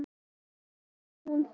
Svo springur hún.